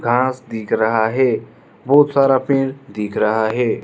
घास दिख रहा है बहुत सारा पेड़ दिख रहा है।